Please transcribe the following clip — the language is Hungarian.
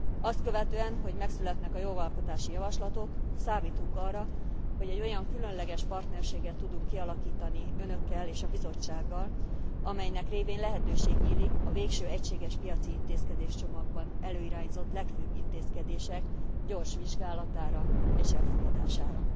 Azt követően, hogy megszületnek a jogalkotási javaslatok, számítunk arra, hogy egy olyan különleges partnerséget tudunk kialakítani Önökkel és a Bizottsággal, amelynek révén lehetőség nyílik a végső egységes piaci intézkedéscsomagban előirányzott legfőbb intézkedések gyors vizsgálatára és elfogadására.